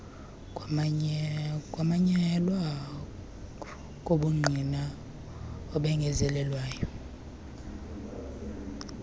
kumanyelwa kobungqina obengezelelweyo